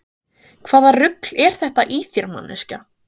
Hvaða rugl er þetta í þér manneskja!